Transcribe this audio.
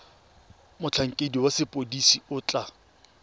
motlhankedi wa sepodisi o tla